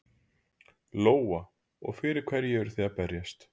Lóa: Og fyrir hverju eruð þið að berjast?